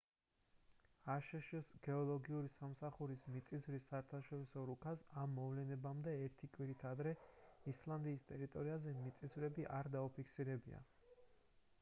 აშშ-ს გეოლოგიური სამსახურის მიწისძვრის საერთაშორისო რუქას ამ მოვლენებამდე ერთი კვირით ადრე ისლანდიის ტერიტორიაზე მიწისძვრები არ დაუფიქსირებია